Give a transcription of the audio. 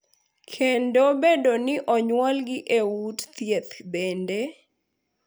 Kendo bedo ni onyuolgi e ute thieth bende,